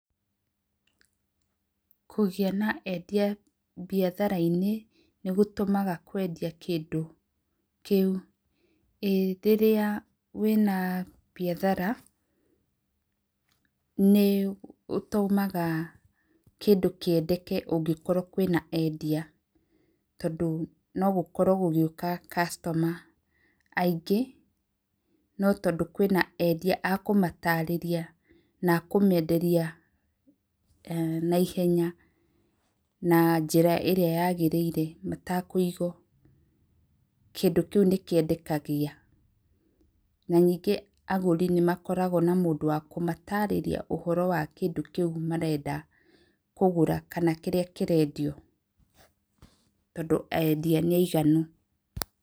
Kũgĩa na endia mbiatharanĩ ni gũtũmaga kwendia kĩndũ kĩũ? Ĩĩ rĩrĩa wĩna mbiathara nĩ ũtũmaga kĩndũ kĩendeke angĩkorwo kwĩna endia no gũkorwo gũgĩũka customer aingĩ no tondũ kwĩna endia akũmararĩria na akũmenderia na ihenya na njĩra ĩrĩa yagĩrĩire matakũigwo kĩndũ kĩu nĩkĩendekaga, na ningĩ agũri nĩ makoragwo na mũndũ wa kũmatarĩria ũhoro wa kĩndũ kĩu marenda kana kĩrĩa kĩrendio tondũ endia nĩ aiganu.